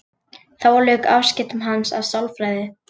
Þá lauk afskiptum hans af sálfræði.